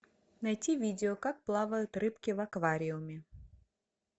найти видео как плавают рыбки в аквариуме